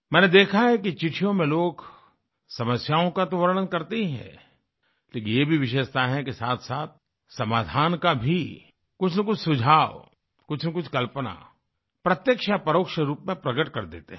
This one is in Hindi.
मैंने देखा है कि चिट्ठियों में लोग समस्याओं का तो वर्णन करते ही हैं लेकिन ये भी विशेषता है कि साथसाथ समाधान का भी कुछनकुछ सुझाव कुछनकुछ कल्पना प्रत्यक्ष या परोक्ष रूप में प्रगट कर देते हैं